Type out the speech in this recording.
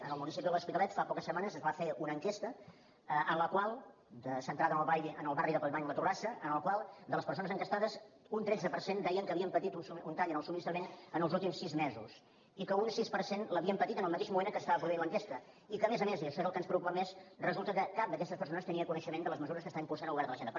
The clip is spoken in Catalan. en el municipi de l’hospitalet fa poques setmanes es va fer una enquesta centrada en el barri de collblanc i la torrassa en la qual de les persones enquestades un tretze per cent deien que havien patit un tall en el subministrament en els últims sis mesos i que un sis per cent l’havien patit en el mateix moment que s’estava produint l’enquesta i que a més a més i això és el que ens preocupa més resulta que cap d’aquestes persones tenia coneixement de les mesures que està impulsant el govern de la generalitat